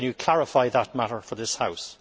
Can you clarify that matter for this House?